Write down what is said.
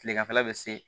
Kileganfɛla bɛ se